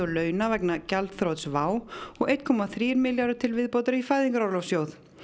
launa vegna gjaldþrots WOW og einn komma þrír milljarðar til viðbótar í Fæðingarorlofssjóð